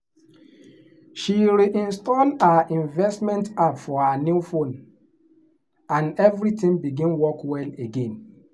she reinstall her investment app for her new phone and everything begin work well again.